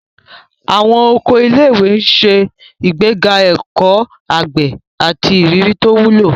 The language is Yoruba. Àwọn oko ilé-ìwé ń ṣe ìgbéga ẹ̀kọ́ àgbẹ̀ àti ìrírí tó wúlò.